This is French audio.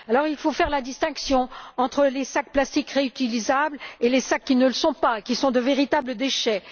Il faut faire la distinction entre les sacs plastiques réutilisables et les sacs qui ne le sont pas, qui sont de véritables déchets.